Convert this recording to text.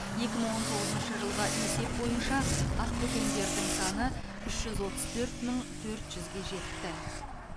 екі мың он тоғызыншы жылғы есеп бойынша ақбөкендердің саны үш жүз отыз төрт мың төрт жүзге жетті